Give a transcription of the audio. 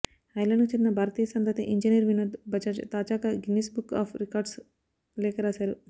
ఐర్లాండ్కు చెందిన భారతీయ సంతతి ఇంజనీర్ వినోద్ బజాజ్ తాజాగా గిన్నిస్ బుక్ ఆఫ్ రికార్డ్స్కు లేఖ రాశారు